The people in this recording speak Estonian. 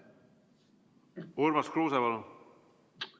Urmas Kruuse, palun!